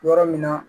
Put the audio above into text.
Yɔrɔ min na